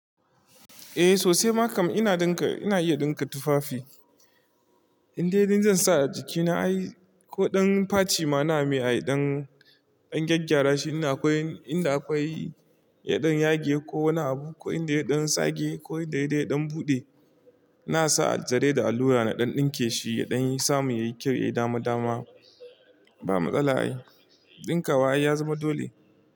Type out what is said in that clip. Eh sosai makam ina iya dinka tufafi. Inde inda zan sa a jikina ai ko dan faci ma na iya don gyagyara shi. Inda akwai yaɗan yage ko wani abu, ko inda yaɗan sage ko dai-dai yaɗan buɗe, na sa aljarai da allura na don ɗinke shi da don samun ya yi kyau, ya yi dama dama. Ba matsala ai, ɗinka wa ya zama dole.